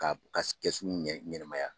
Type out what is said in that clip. Ka ka kɛsu ɲɛnamaya